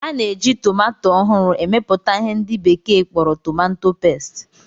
A na-eji tomanto ohuru emeputa ihe ndi bekee kporo "tomanto paste"